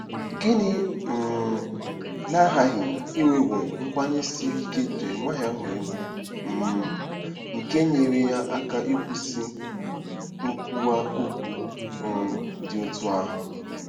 Gịnị um na-aghaghị inwewo nkwenye siri ike Jeremaịa nwere bụ́ um nke nyeere ya aka ikwusa nkwuwa okwu um dị otú ahụ?